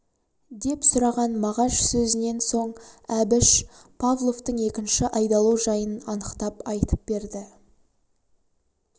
деп сұраған мағаш сөзінен соң әбіш павловтың екінші айдалу жайын анықтап айтып берді